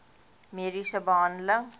mediese behandeling